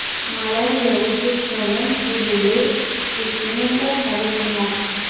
Malayziya O‘zbekistondan sulili pechenyelar xarid qilmoqchi.